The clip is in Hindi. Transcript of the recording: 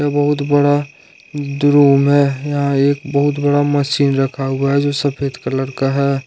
बहुत बड़ा एक रूम है यहां एक बहुत बड़ा मशीन रखा हुआ है जो सफेद कलर का है।